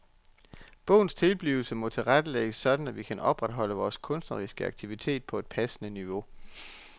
Bogens tilblivelse må tilrettelægges sådan at vi kan opretholde vores kunstneriske aktivitet på et passende niveau.